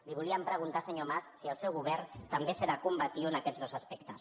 li volíem preguntar senyor mas si el seu govern també serà combatiu en aquests dos aspectes